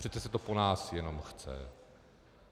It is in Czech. Přece se to po nás jenom chce.